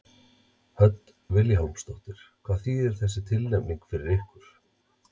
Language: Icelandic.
Hödd Vilhjálmsdóttir: Hvað þýðir þessi tilnefning fyrir ykkur?